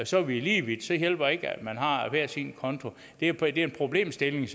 så er vi lige vidt så hjælper det ikke at man har hver sin konto det er en problemstilling